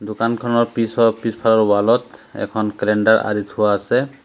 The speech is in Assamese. দোকানখনৰ পিছত পিছফালৰ ৱাল ত এখন কেলেণ্ডাৰ আঁৰি থোৱা আছে।